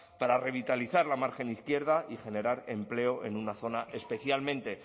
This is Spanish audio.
para revitalizar la margen izquierda y generar empleo en una zona especialmente